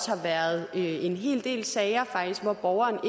har været en hel del sager hvor borgeren